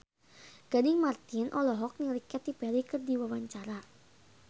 Gading Marten olohok ningali Katy Perry keur diwawancara